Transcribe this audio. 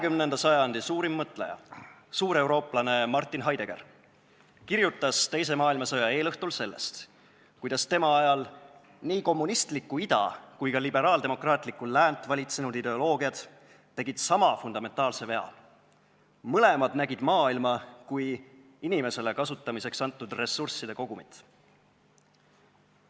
20. sajandi suurim mõtleja, suur eurooplane Martin Heidegger kirjutas teise maailmasõja eelõhtul sellest, kuidas tema ajal nii kommunistlikku ida kui ka liberaaldemokraatlikku läänt valitsenud ideoloogiad tegid sama fundamentaalse vea: mõlemad nägid maailma kui inimesele kasutamiseks antud ressursside kogumit.